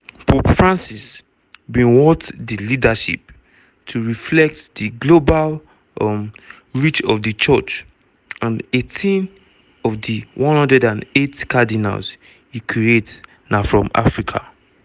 pope francis bin want di leadership to reflect di global um reach of di church and 18 of di 108 cardinals e create na from africa.